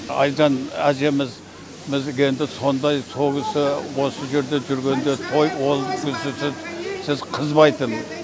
әлжан әжеміз бізге енді сондай сол кісі осы жерде жүргенде той ол кісісіз қызбайтын